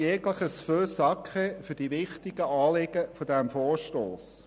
jegliches «feu sacré» für die wichtigen Anliegen dieses Vorstosses.